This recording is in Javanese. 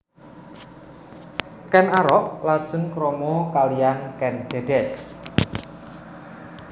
Ken Arok lajeng krama kaliyan Kèn Dèdès